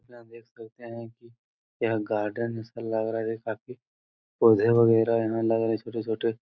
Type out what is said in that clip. यहाँ देख सकते हैं की यह गार्डन जैसा लग रहा है। जैसा की पौधे वगैरा यहाँ लग रहा है छोटे-छोटे।